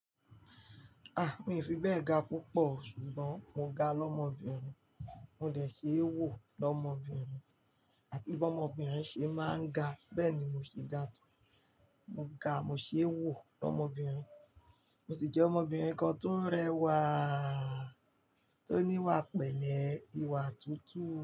A! Mi ò fi bẹ́ẹ̀ ga púpọ̀, ṣùgbọ́n mo ga lọ́mọbìnrin, mo lè ṣe é wò lọ́mọbìnrin, àti bí ọmọbìnrin ṣe máa ń ga, bẹ́ẹ̀ ni mo ṣe ga tán. Mo ga, mo ṣe é wò lọ́mọbìnrin, mo sì jẹ́ ọmọbìnrin kan tó rẹwà, tó níwà pẹ̀lẹ́, ìwà tuntun.